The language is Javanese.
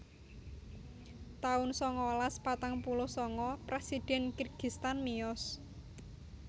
taun sangalas patang puluh sanga Presiden Kirgistan miyos